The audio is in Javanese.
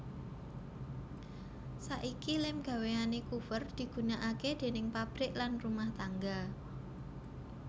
Saiki lem gawéane Coover digunakake déning pabrik lan rumah tangga